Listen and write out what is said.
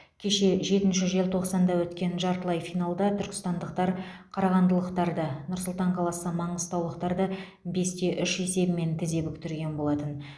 кеше жетінші желтоқсанда өткен жартылай финалда түркістандықтар қарағандылықтарды нұр сұлтан қаласы маңғыстаулықтарды бес те үш есебімен тізе бүктірген болатын